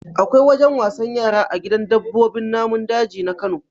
Akwai wajen wasan yara a gidan dabbobin namun daji na Kano.